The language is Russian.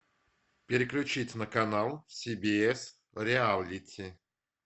переключить на канал сибиэс реалити